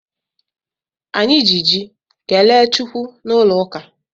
Anyị ji ji kelee Chukwu n'ụlọ ụka.